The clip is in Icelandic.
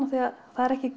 af því að það er